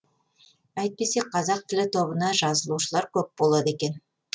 әйтпесе қазақ тілі тобына жазылушылар көп болады екен